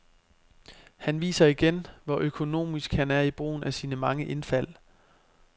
Han viser igen, hvor økonomisk han er i brugen af sine mange indfald.